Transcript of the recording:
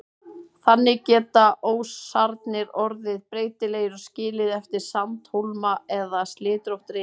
Þannig geta ósarnir orðið breytilegir og skilið eftir sandhólma eða slitrótt rif.